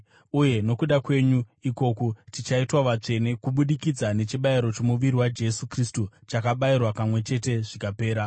Uye nokuda kwenyu ikoku, tichaitwa vatsvene kubudikidza nechibayiro chomuviri waJesu Kristu chakabayirwa kamwe chete zvikapera.